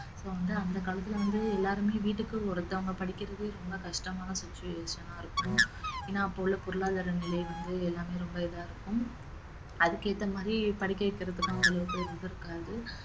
இப்ப வந்து அந்த காலத்துல வந்து எல்லாருமே வீட்டுக்கு ஒருத்தவங்க படிக்கிறதே ரொம்ப கஷ்டமான situation ஆ இருக்கும் ஏன்னா அப்ப உள்ள பொருளாதார நிலை வந்து எல்லாமே ரொம்ப இதா இருக்கும் அதுக்கேத்த மாதிரி படிக்க வைக்கிறதுக்கும் அந்த அளவுக்கு இது இருக்காது